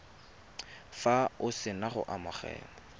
fa o sena go amogela